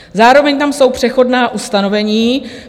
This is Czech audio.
Zároveň tam jsou přechodná ustanovení.